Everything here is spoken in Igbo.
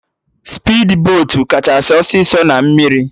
Spidbotu kachasị ọsịsọ na mmiri